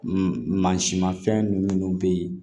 mansin mafɛn minnu be yen